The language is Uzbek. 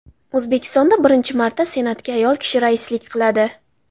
O‘zbekistonda birinchi marta Senatga ayol kishi raislik qiladi.